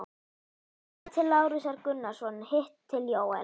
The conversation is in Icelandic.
Annað til Lárusar Gunnarssonar, hitt til Jóels.